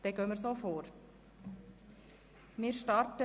– Dies scheint der Fall zu sein.